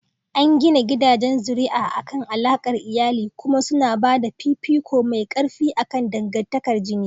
An gina gidajen zuri'a akan alaƙar iyali kuma suna ba da fifiko mai ƙarfi akan dangantakar jini.